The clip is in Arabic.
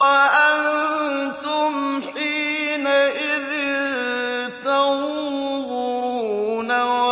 وَأَنتُمْ حِينَئِذٍ تَنظُرُونَ